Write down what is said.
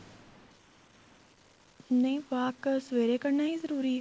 ਨਹੀਂ walk ਸਵੇਰੇ ਕਰਨਾ ਹੀ ਜਰੂਰੀ ਏ